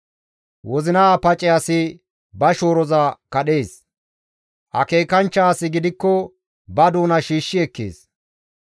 Wozina pace asi ba shooroza kadhees; akeekanchcha asi gidikko ba doona shiishshi ekkees.